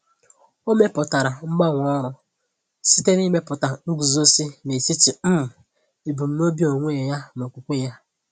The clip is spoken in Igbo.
O mepụtara mgbanwe ọrụ site na imepụta nguzozi n’etiti um ebumnobi onwe ya na okwukwe ya.